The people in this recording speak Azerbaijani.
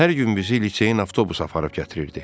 Hər gün bizi liseyin avtobus aparıb gətirirdi.